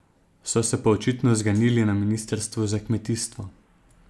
So se pa očitno zganili na ministrstvu za kmetijstvo.